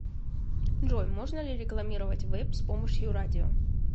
джой можно ли рекламировать вэйп с помощью радио